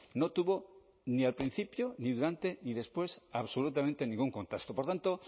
no tuvo ni al principio ni durante ni después absolutamente ningún contacto por tanto